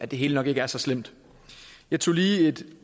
det hele nok ikke er så slemt jeg tog lige